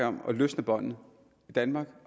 om at løsne båndet i danmark